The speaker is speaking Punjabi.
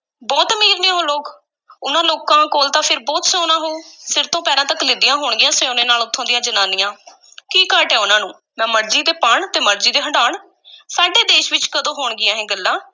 ਬਹੁਤ ਅਮੀਰ ਨੇ ਉਹ ਲੋਕ, ਉਹਨਾਂ ਲੋਕਾਂ ਕੋਲ ਤਾਂ ਫਿਰ ਬਹੁਤ ਸੋਨਾ ਹੋਊ, ਸਿਰ ਤੋਂ ਪੈਰਾਂ ਤੱਕ ਲੱਦੀਆਂ ਹੋਣਗੀਆਂ ਸੋਨੇ ਨਾਲ ਉਥੋਂ ਦੀਆਂ ਜ਼ਨਾਨੀਆਂ ਕੀ ਘਾਟ ਹੈ ਉਹਨਾਂ ਨੂੰ, ਮੈ ਮਰਜ਼ੀ ਦੇ ਪਾਣ ਤੇ ਮਰਜ਼ੀ ਦੇ ਹੰਢਾਣ ਸਾਡੇ ਦੇਸ ਵਿੱਚ ਕਦੋਂ ਹੋਣਗੀਆਂ ਇਹ ਗੱਲਾਂ?